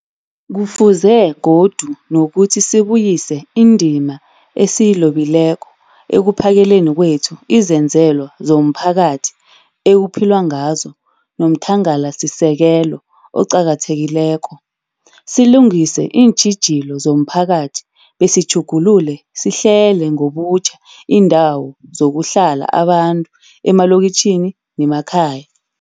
Kufuze godu nokuthi sibuyise indima esiyilobileko ekuphakeleni kwethu izenzelwa zomphakathi ekuphilwa ngazo nomthangalasisekelo oqakathekileko, silungise iintjhijilo zomphakathi besitjhugulule sihlele ngobutjha iindawo zokuhlala abantu emalokitjhini nemakhaya.